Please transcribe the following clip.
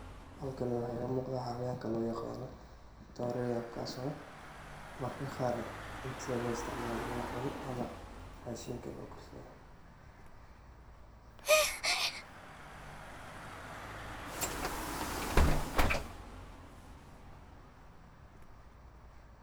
Halkan waxa igamuqda xawanyanka loyaqano doreyga kaso mararka qaar loisticmalo cuntada lugudaro ama inii rashinka lugukarsado.